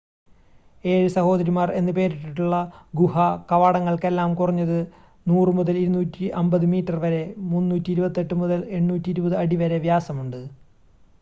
ഏഴ് സഹോദരിമാർ എന്ന് പേരിട്ടിട്ടുള്ള ഗുഹാ കവാടങ്ങൾക്കെല്ലാം കുറഞ്ഞത് 100 മുതൽ 250 മീറ്റർ വരെ 328 മുതൽ 820 അടി വരെ വ്യാസമുണ്ട്